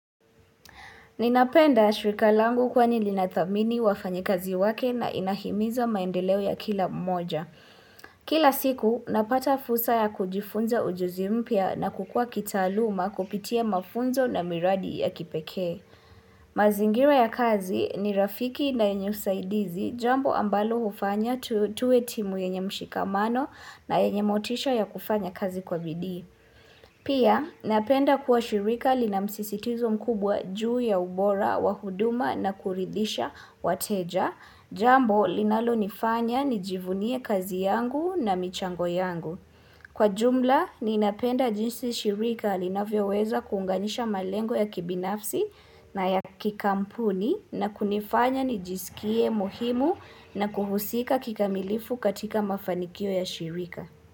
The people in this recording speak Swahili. Ninapenda shirika langu kwani linathamini wafanyakazi wake na inahimiza maendeleo ya kila mmoja. Kila siku, napata fursa ya kujifunza ujuzi mpya na kukua kitaluma kupitia mafunzo na miradi ya kipeke. Mazingira ya kazi ni rafiki na yenye usaidizi jambo ambalo hufanya tuwe timu yenye mshikamano na yenye motisha ya kufanya kazi kwa bidii. Pia napenda kuwa shirika linamsisitizo mkubwa juu ya ubora wa huduma na kuridhisha wateja Jambo linalo nifanya nijivunie kazi yangu na michango yangu Kwa jumla ninapenda jinsi shirika linavyo weza kuunganisha malengo ya kibinafsi na ya kikampuni na kunifanya nijisikie muhimu na kuhusika kikamilifu katika mafanikio ya shirika.